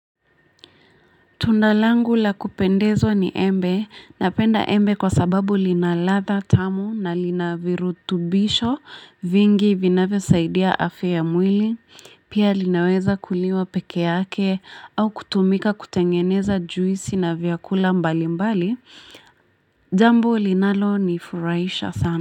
Tunda langu la kupendezwa ni embe, napenda embe kwa sababu lina ladha tamu na lina virutubisho vingi vinavyosaidia afya ya mwili, pia linaweza kuliwa pekee yake au kutumika kutengeneza juisi na vyakula mbali mbali, jambo linalo nifurahisha sana.